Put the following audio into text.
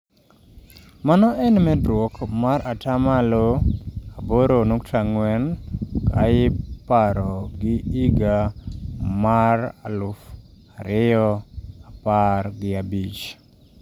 Mano en medruok mar atamaloaboronukta ang'wen ka iporo gi higa mar alauf ariyo apar gi abich.